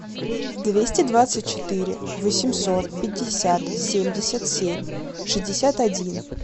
двести двадцать четыре восемьсот пятьдесят семьдесят семь шестьдесят один